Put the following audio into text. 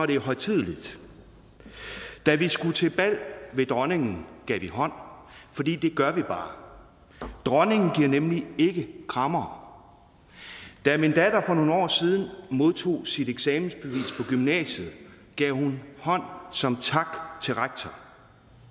det er højtideligt da vi skulle til bal ved dronningen gav vi hånd fordi det gør vi bare dronningen giver nemlig ikke krammere da min datter for nogle år siden modtog sit eksamensbevis på gymnasiet gav hun hånd som tak til rektor